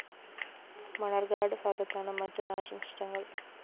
മണ്ണാര്‍ക്കാട് ഭാഗത്താണ് മറ്റ് നാശനഷ്ടങ്ങള്‍്